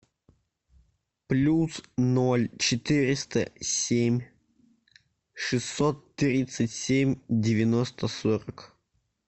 плюс ноль четыреста семь шестьсот тридцать семь девяносто сорок